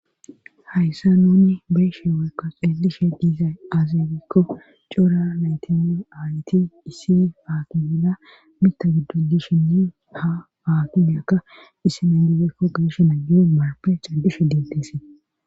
Hayssan nuuni be7ishe woykko xeellishe dizay aaze giikko cora naytinne aayeti issi boola mitta giddon dishee´nne haa akkimeyklka marfe caddishe deettees.